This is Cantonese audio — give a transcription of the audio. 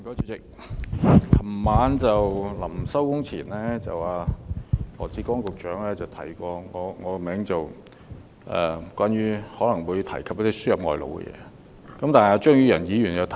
主席，在昨晚會議暫停前，羅致光局長提及我的名字，指我可能會提述輸入外勞的議題。